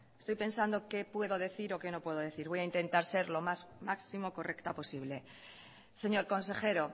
estoy pensando qué puedo decir o qué no puedo decir voy a intentar ser lo máximo correcta posible señor consejero